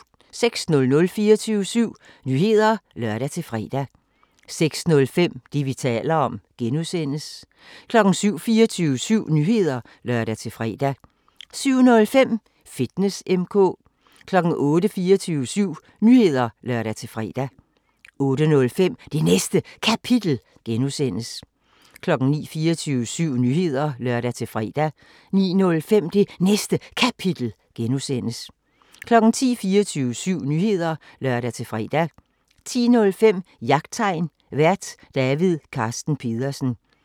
06:00: 24syv Nyheder (lør-fre) 06:05: Det, vi taler om (G) 07:00: 24syv Nyheder (lør-fre) 07:05: Fitness M/K 08:00: 24syv Nyheder (lør-fre) 08:05: Det Næste Kapitel (G) 09:00: 24syv Nyheder (lør-fre) 09:05: Det Næste Kapitel (G) 10:00: 24syv Nyheder (lør-fre) 10:05: Jagttegn Vært: David Carsten Pedersen